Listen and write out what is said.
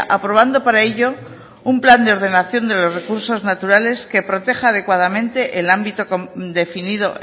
aprobando para ello un plan de ordenación de los recursos naturales que proteja adecuadamente el ámbito definido